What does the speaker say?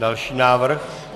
Další návrh.